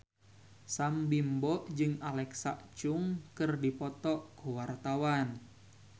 Sam Bimbo jeung Alexa Chung keur dipoto ku wartawan